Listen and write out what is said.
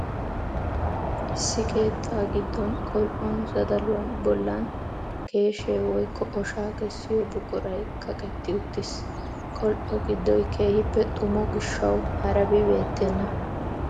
Issi keettaa giddon qol"on zadaluwa bollan keeshee woykko oshaa kessiyo buquray kaqetti uttiis. Qol"o giddoy keehippe xumo gishawu harabi beettenna.